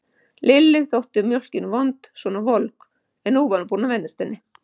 Lillu þótt mjólkin vond svona volg, en nú var hún búin að venjast henni.